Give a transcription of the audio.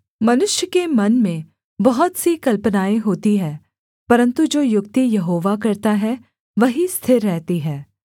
मनुष्य के मन में बहुत सी कल्पनाएँ होती हैं परन्तु जो युक्ति यहोवा करता है वही स्थिर रहती है